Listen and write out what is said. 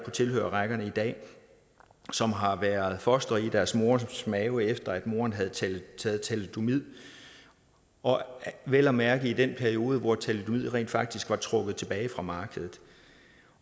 tilhørerrækkerne i dag som har været fostre i deres mors mave efter at moren havde taget thalidomid og vel at mærke i den periode hvor thalidomid rent faktisk var trukket tilbage fra markedet